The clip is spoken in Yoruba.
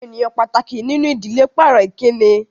Àwọn ènìyàn pàtàkì nínú ìdílé pàrọ̀ Ìkíni